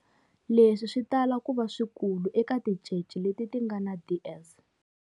Leswi swi tala ku va swikulu eka tincece leti ti nga na DS.